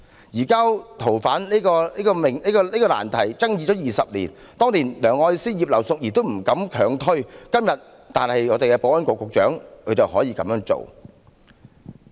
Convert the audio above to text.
移交逃犯的難題爭議20年，當年梁愛詩和前保安局局長葉劉淑儀議員也不敢強推，但今天的保安局局長卻膽敢這樣做。